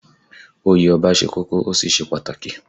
Oyè Ọba ṣe kókó, ó sì ṣe pàtàkì